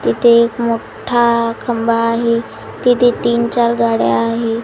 तिथे एक मोठा खंबा आहे तिथे तीन चार गाड्या आहे.